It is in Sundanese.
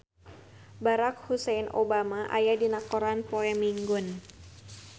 Barack Hussein Obama aya dina koran poe Minggon